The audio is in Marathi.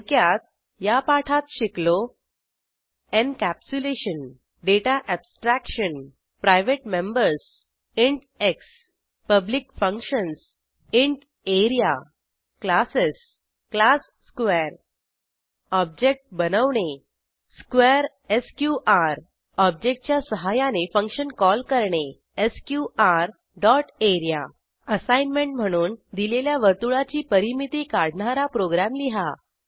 थोडक्यात या पाठात शिकलो encapsulation data abstraction private members int x public functions int A R E A classes class square object बनवणे स्क्वेअर एसक्यूआर ऑब्जेक्टच्या सहाय्याने फंक्शन कॉल करणे एसक्यूआर डॉट area असाईनमेंट म्हणून दिलेल्या वर्तुळाची परिमिती काढणारा प्रोग्रॅम लिहा